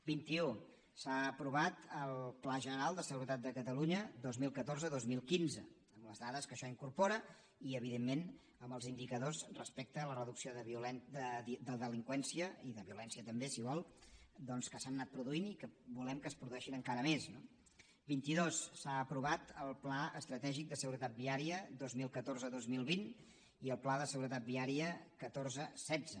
vint i u s’ha aprovat el pla general de seguretat de catalunya dos mil catorze dos mil quinze amb les dades que això incorpora i evidentment amb els indicadors respecte a la reducció de delinqüència i de violència també si vol doncs que s’han anat produint i que volem que es produeixin encara més no vint i dos s’han aprovat el pla estratègic de seguretat viària dos mil catorze dos mil vint i el pla de seguretat viària catorze setze